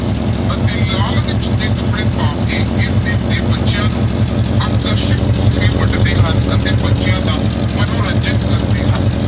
ਅਤੇ ਲਾਲ ਅਤੇ ਚਿੱਟੇ ਕੱਪੜੇ ਪਾ ਕੇ ਇਸ ਦਿਨ ਤੇ ਬੱਚਿਆਂ ਨੂੰ ਆਕਰਸ਼ਕ ਤੋਹਫ਼ੇ ਵੰਡਦੇ ਹਨ ਅਤੇ ਬੱਚਿਆਂ ਦਾ ਮਨੋਰੰਜਨ ਕਰਦੇ ਹਨ।